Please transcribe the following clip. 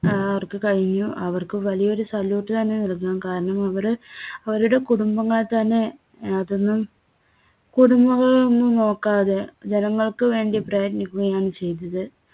അവർക്ക് കഴിഞ്ഞു. അവർക്ക് വലിയൊരു salute തന്നെ നല്കാം. കാരണം അവര് അവരുടെ കുടുംബങ്ങൾതന്നെ ആഹ് കുടുംബം കുടുംബങ്ങളൊന്നും നോക്കാതെ ജനങ്ങൾക്ക് വേണ്ടി പ്രയത്നിക്കുകയാണ് ചെയ്‌തത്‌.